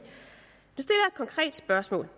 konkret spørgsmål